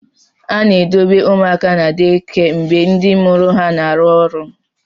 A na-edobe ụmụaka na deekia mgbe ndị mụrụ ha na-arụ ọrụ.